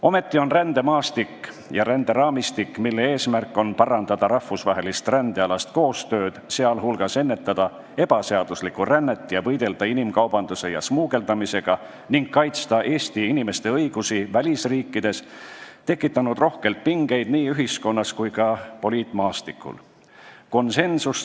Ometi on rändemaastik ja ränderaamistik, mille eesmärk on parandada rahvusvahelist rändealast koostööd, sh ennetada ebaseaduslikku rännet, võidelda inimkaubanduse ja smugeldamisega ning kaitsta Eesti inimeste õigusi välisriikides, tekitanud rohkelt pingeid nii ühiskonnas kui ka poliitmaastikul.